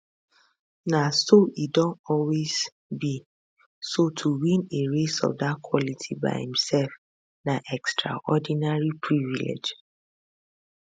na so e don always be so to win a race of dat quality by imsef na extraordinary privilege